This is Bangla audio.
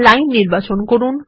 লাইন নির্বাচন করুন